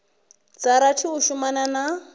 dza rathi u shumana na